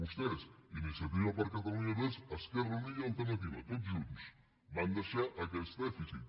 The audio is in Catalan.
vostès iniciativa per catalunya verds esquerra unida i alternativa tots junts van deixar aquest dèficit